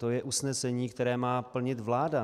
To je usnesení, které má plnit vláda.